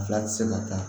Fila ti se ka kɛ